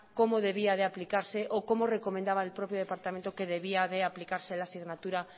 cómo debía de aplicarse o cómo recomendaba el propio departamento que debía de aplicarse la asignatura